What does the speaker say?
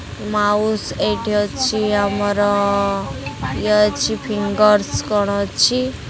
Mouse ଏଇଠି ଅଛି ଆମର ଇଏ ଅଛି ଫିଙ୍ଗରସ କ'ଣ ଅଛି।